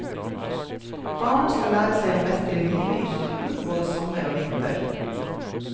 Barna skal lære seg å mestre livet i naturen både sommer og vinter.